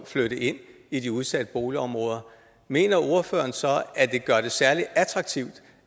flytte ind i de udsatte boligområder mener ordføreren så at det gør det særlig attraktivt